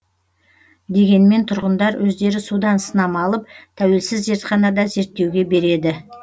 дегенмен тұрғындар өздері судан сынама алып тәуелсіз зертханада зерттеуге береді